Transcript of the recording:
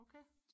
okay